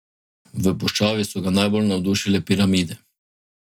V puščavi so ga najbolj navdušile piramide.